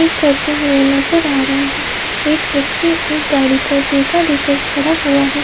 करते हुए नजर आ रहे हैं। एक व्यक्ति एक गाड़ी को टेका देकर खड़ा हुआ है।